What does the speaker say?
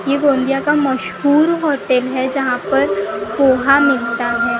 ये घोंधिया का मशहूर होटल हैं जहाँ पर पोहा मिलता हैं।